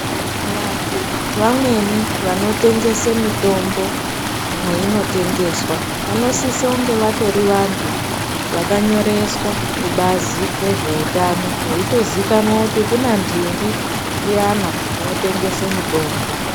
Vantu vamweni vanotengese mitombo mweinotengeswa vanosise kunge vatori vantu vakanyoreswa kubazi rezveutano veitozikanwa kuti kuna ndingi uyana unotengese mitombo.